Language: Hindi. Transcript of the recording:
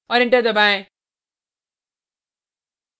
और enter दबाएँ